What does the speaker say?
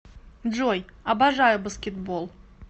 джой обожаю баскетбол